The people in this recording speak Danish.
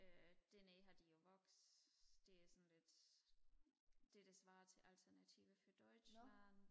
øh dernede har de jo vox det er sådan lidt det der svarer til alternative für deutschland